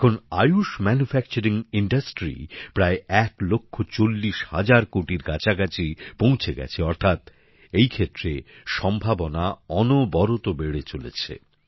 এখন আয়ুষ উৎপাদন শিল্প প্রায় ১ লাখ ৪০ হাজার কোটির কাছাকাছি পৌঁছে গেছে অর্থাৎ এই ক্ষেত্রে সম্ভাবনা অনবরত বেড়েই চলেছে